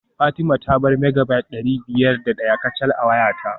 Fatima ta bar Megabyte dari biyar da daya kacal a wayata